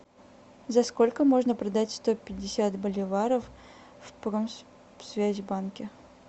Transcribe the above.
за сколько можно продать сто пятьдесят боливаров в промсвязьбанке